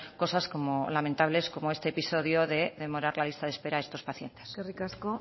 cosas lamentables como este episodio de demorar la lista de espera a estos pacientes eskerrik asko